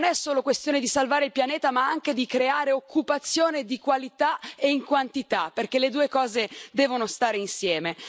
Non si tratta solo di salvare il pianeta, ma anche di creare occupazione di qualità e in quantità, perché le due cose devono stare insieme.